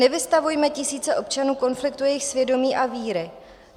Nevystavujme tisíce občanů konfliktu jejich svědomí a víry.